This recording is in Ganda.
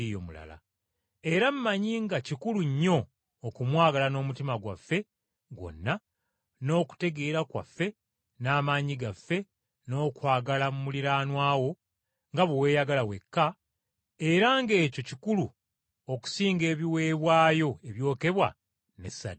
Era mmanyi nga kikulu nnyo okumwagala n’omutima gwaffe gwonna, n’okutegeera kwaffe n’amaanyi gaffe, n’okwagala muliraanwa wo nga bwe weeyagala wekka, era ng’ekyo kikulu okusinga ebiweebwayo ebyokebwa ne ssaddaaka.”